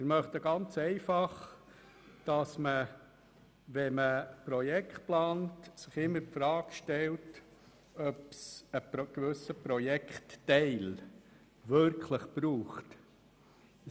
Wir möchten ganz einfach, dass man sich bei der Planung von Projekten immer die Frage stellt, ob ein gewisser Projektteil wirklich benötigt wird.